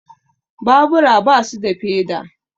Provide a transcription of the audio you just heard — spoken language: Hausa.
Babura basu da feda